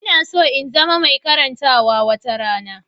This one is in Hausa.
Ina so in zama mai karantawa wata rana.